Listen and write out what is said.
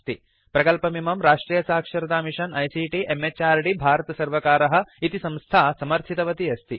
प्रकल्पमिमं राष्ट्रियसाक्षरतामिषन आईसीटी म्हृद् भारतसर्वकारः इति संस्था समर्थितवती अस्ति